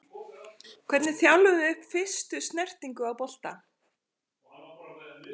Hvernig þjálfum við upp fyrstu snertingu á bolta?